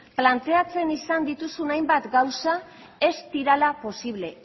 planteatzen izan dituzun hainbat gauza ez direla posible